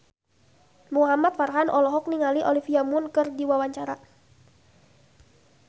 Muhamad Farhan olohok ningali Olivia Munn keur diwawancara